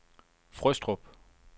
Frøstrup